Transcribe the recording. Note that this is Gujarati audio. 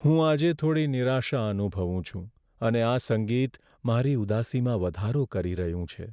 હું આજે થોડી નિરાશા અનુભવું છું અને આ સંગીત મારી ઉદાસીમાં વધારો કરી રહ્યું છે.